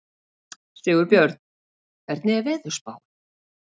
Sigurbjörn, hvernig er veðurspáin?